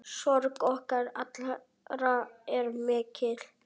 Sorg okkar allra er mikil.